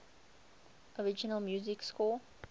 original music score